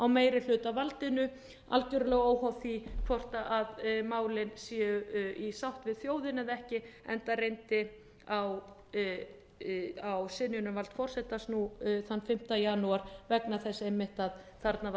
meirihlutavaldinu algjörlega óháð því hvort málin séu í sátt við þjóðina eða ekki enda reyndi á synjunarvald forsetans nú þann fimmta janúar vegna þess einmitt að þarna var verið